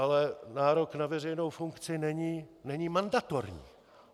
Ale nárok na veřejnou funkci není mandatorní.